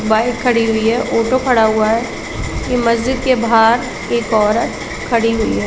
Bike खड़ी हुई है ऑटो खड़ा हुआ है ये मस्जीद के एक बहार एक औरत खड़ी हुई है।